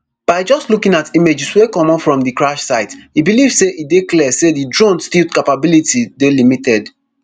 by just looking at images wey comot from di crash site e believe say e dey clear say di drone stealth capabilities dey limited